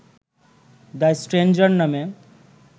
the stranger নামে